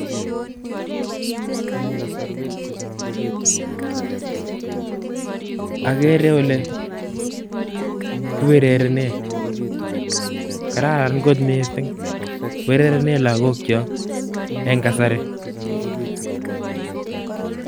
Okere olee kiurerenen, kararan kot mising urerenen lokokyok en kasari.